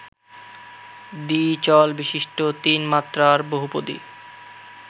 দ্বিচলবিশিষ্ট তিন মাত্রার বহুপদী